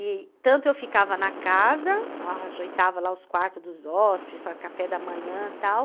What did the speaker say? E tanto eu ficava na casa, eu ajeitava lá os quartos dos hóspedes, o café da manhã e tal.